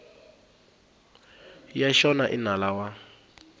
ya xona i nala wa